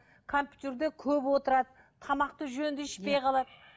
компьютерде көп отырады тамақты жөнді ішпей қалады